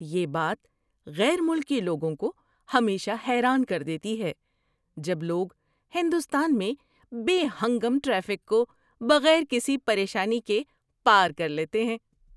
یہ بات غیر ملکی لوگوں کو ہمیشہ حیران کر دیتی ہے جب لوگ ہندوستان میں بے ہنگم ٹریفک کو بغیر کسی پریشانی کے پار کر لیتے ہیں۔